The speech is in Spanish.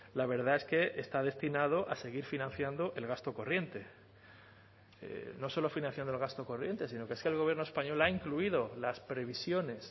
la verdad es que está destinado a seguir financiando el gasto corriente no solo financiando el gasto corriente sino que es que el gobierno español ha incluido las previsiones